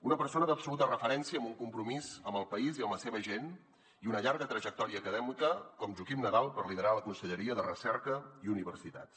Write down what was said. una persona d’absoluta referència amb un compromís amb el país i amb la seva gent i una llarga trajectòria acadèmica com joaquim nadal per liderar la conselleria de recerca i universitats